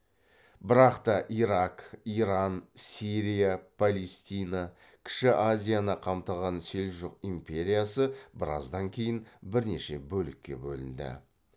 бірақ та ирак иран сирия палестина кіші азияны қамтыған селжұқ империясы біраздан кейін бірнеше бөлікке бөлінді